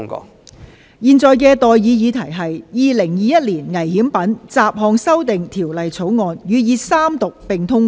我現在向各位提出的待議議題是：《2021年危險品條例草案》予以三讀並通過。